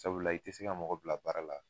Sabula i tɛ se ka mɔgɔ bila baara la